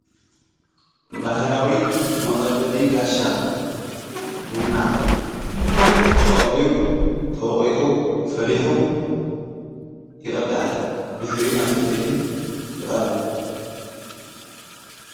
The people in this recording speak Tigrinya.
ባህዳዊ መቐበሪ ጋሻ ቡና ተቐልዩ ተወቒጡ ፈሊኁ ይቕዳሕ ብድኅሪ ናብተይተይቲ ይቐርብ።